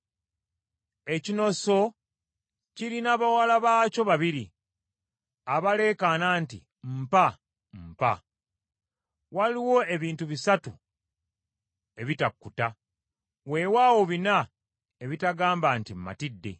Ekinoso kirina bawala baakyo babiri abaleekaana nti, “Mpa! mpa!” Waliwo ebintu bisatu ebitakkuta, weewaawo bina ebitagamba nti, “Matidde,”